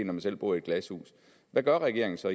man selv bor i glashus hvad gør regeringen så